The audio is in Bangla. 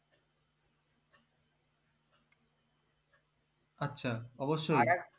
আচ্ছা অবশ্যই